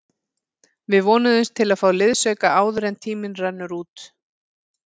Við vonumst til að fá liðsauka áður en tíminn rennur út.